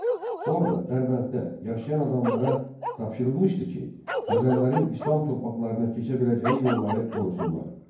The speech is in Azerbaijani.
Orda Dərbənddə yaşayan adamlara tapşırılmışdı ki, Xəzərlərin İslam torpaqlarına keçə biləcəyi yolları qorusunlar.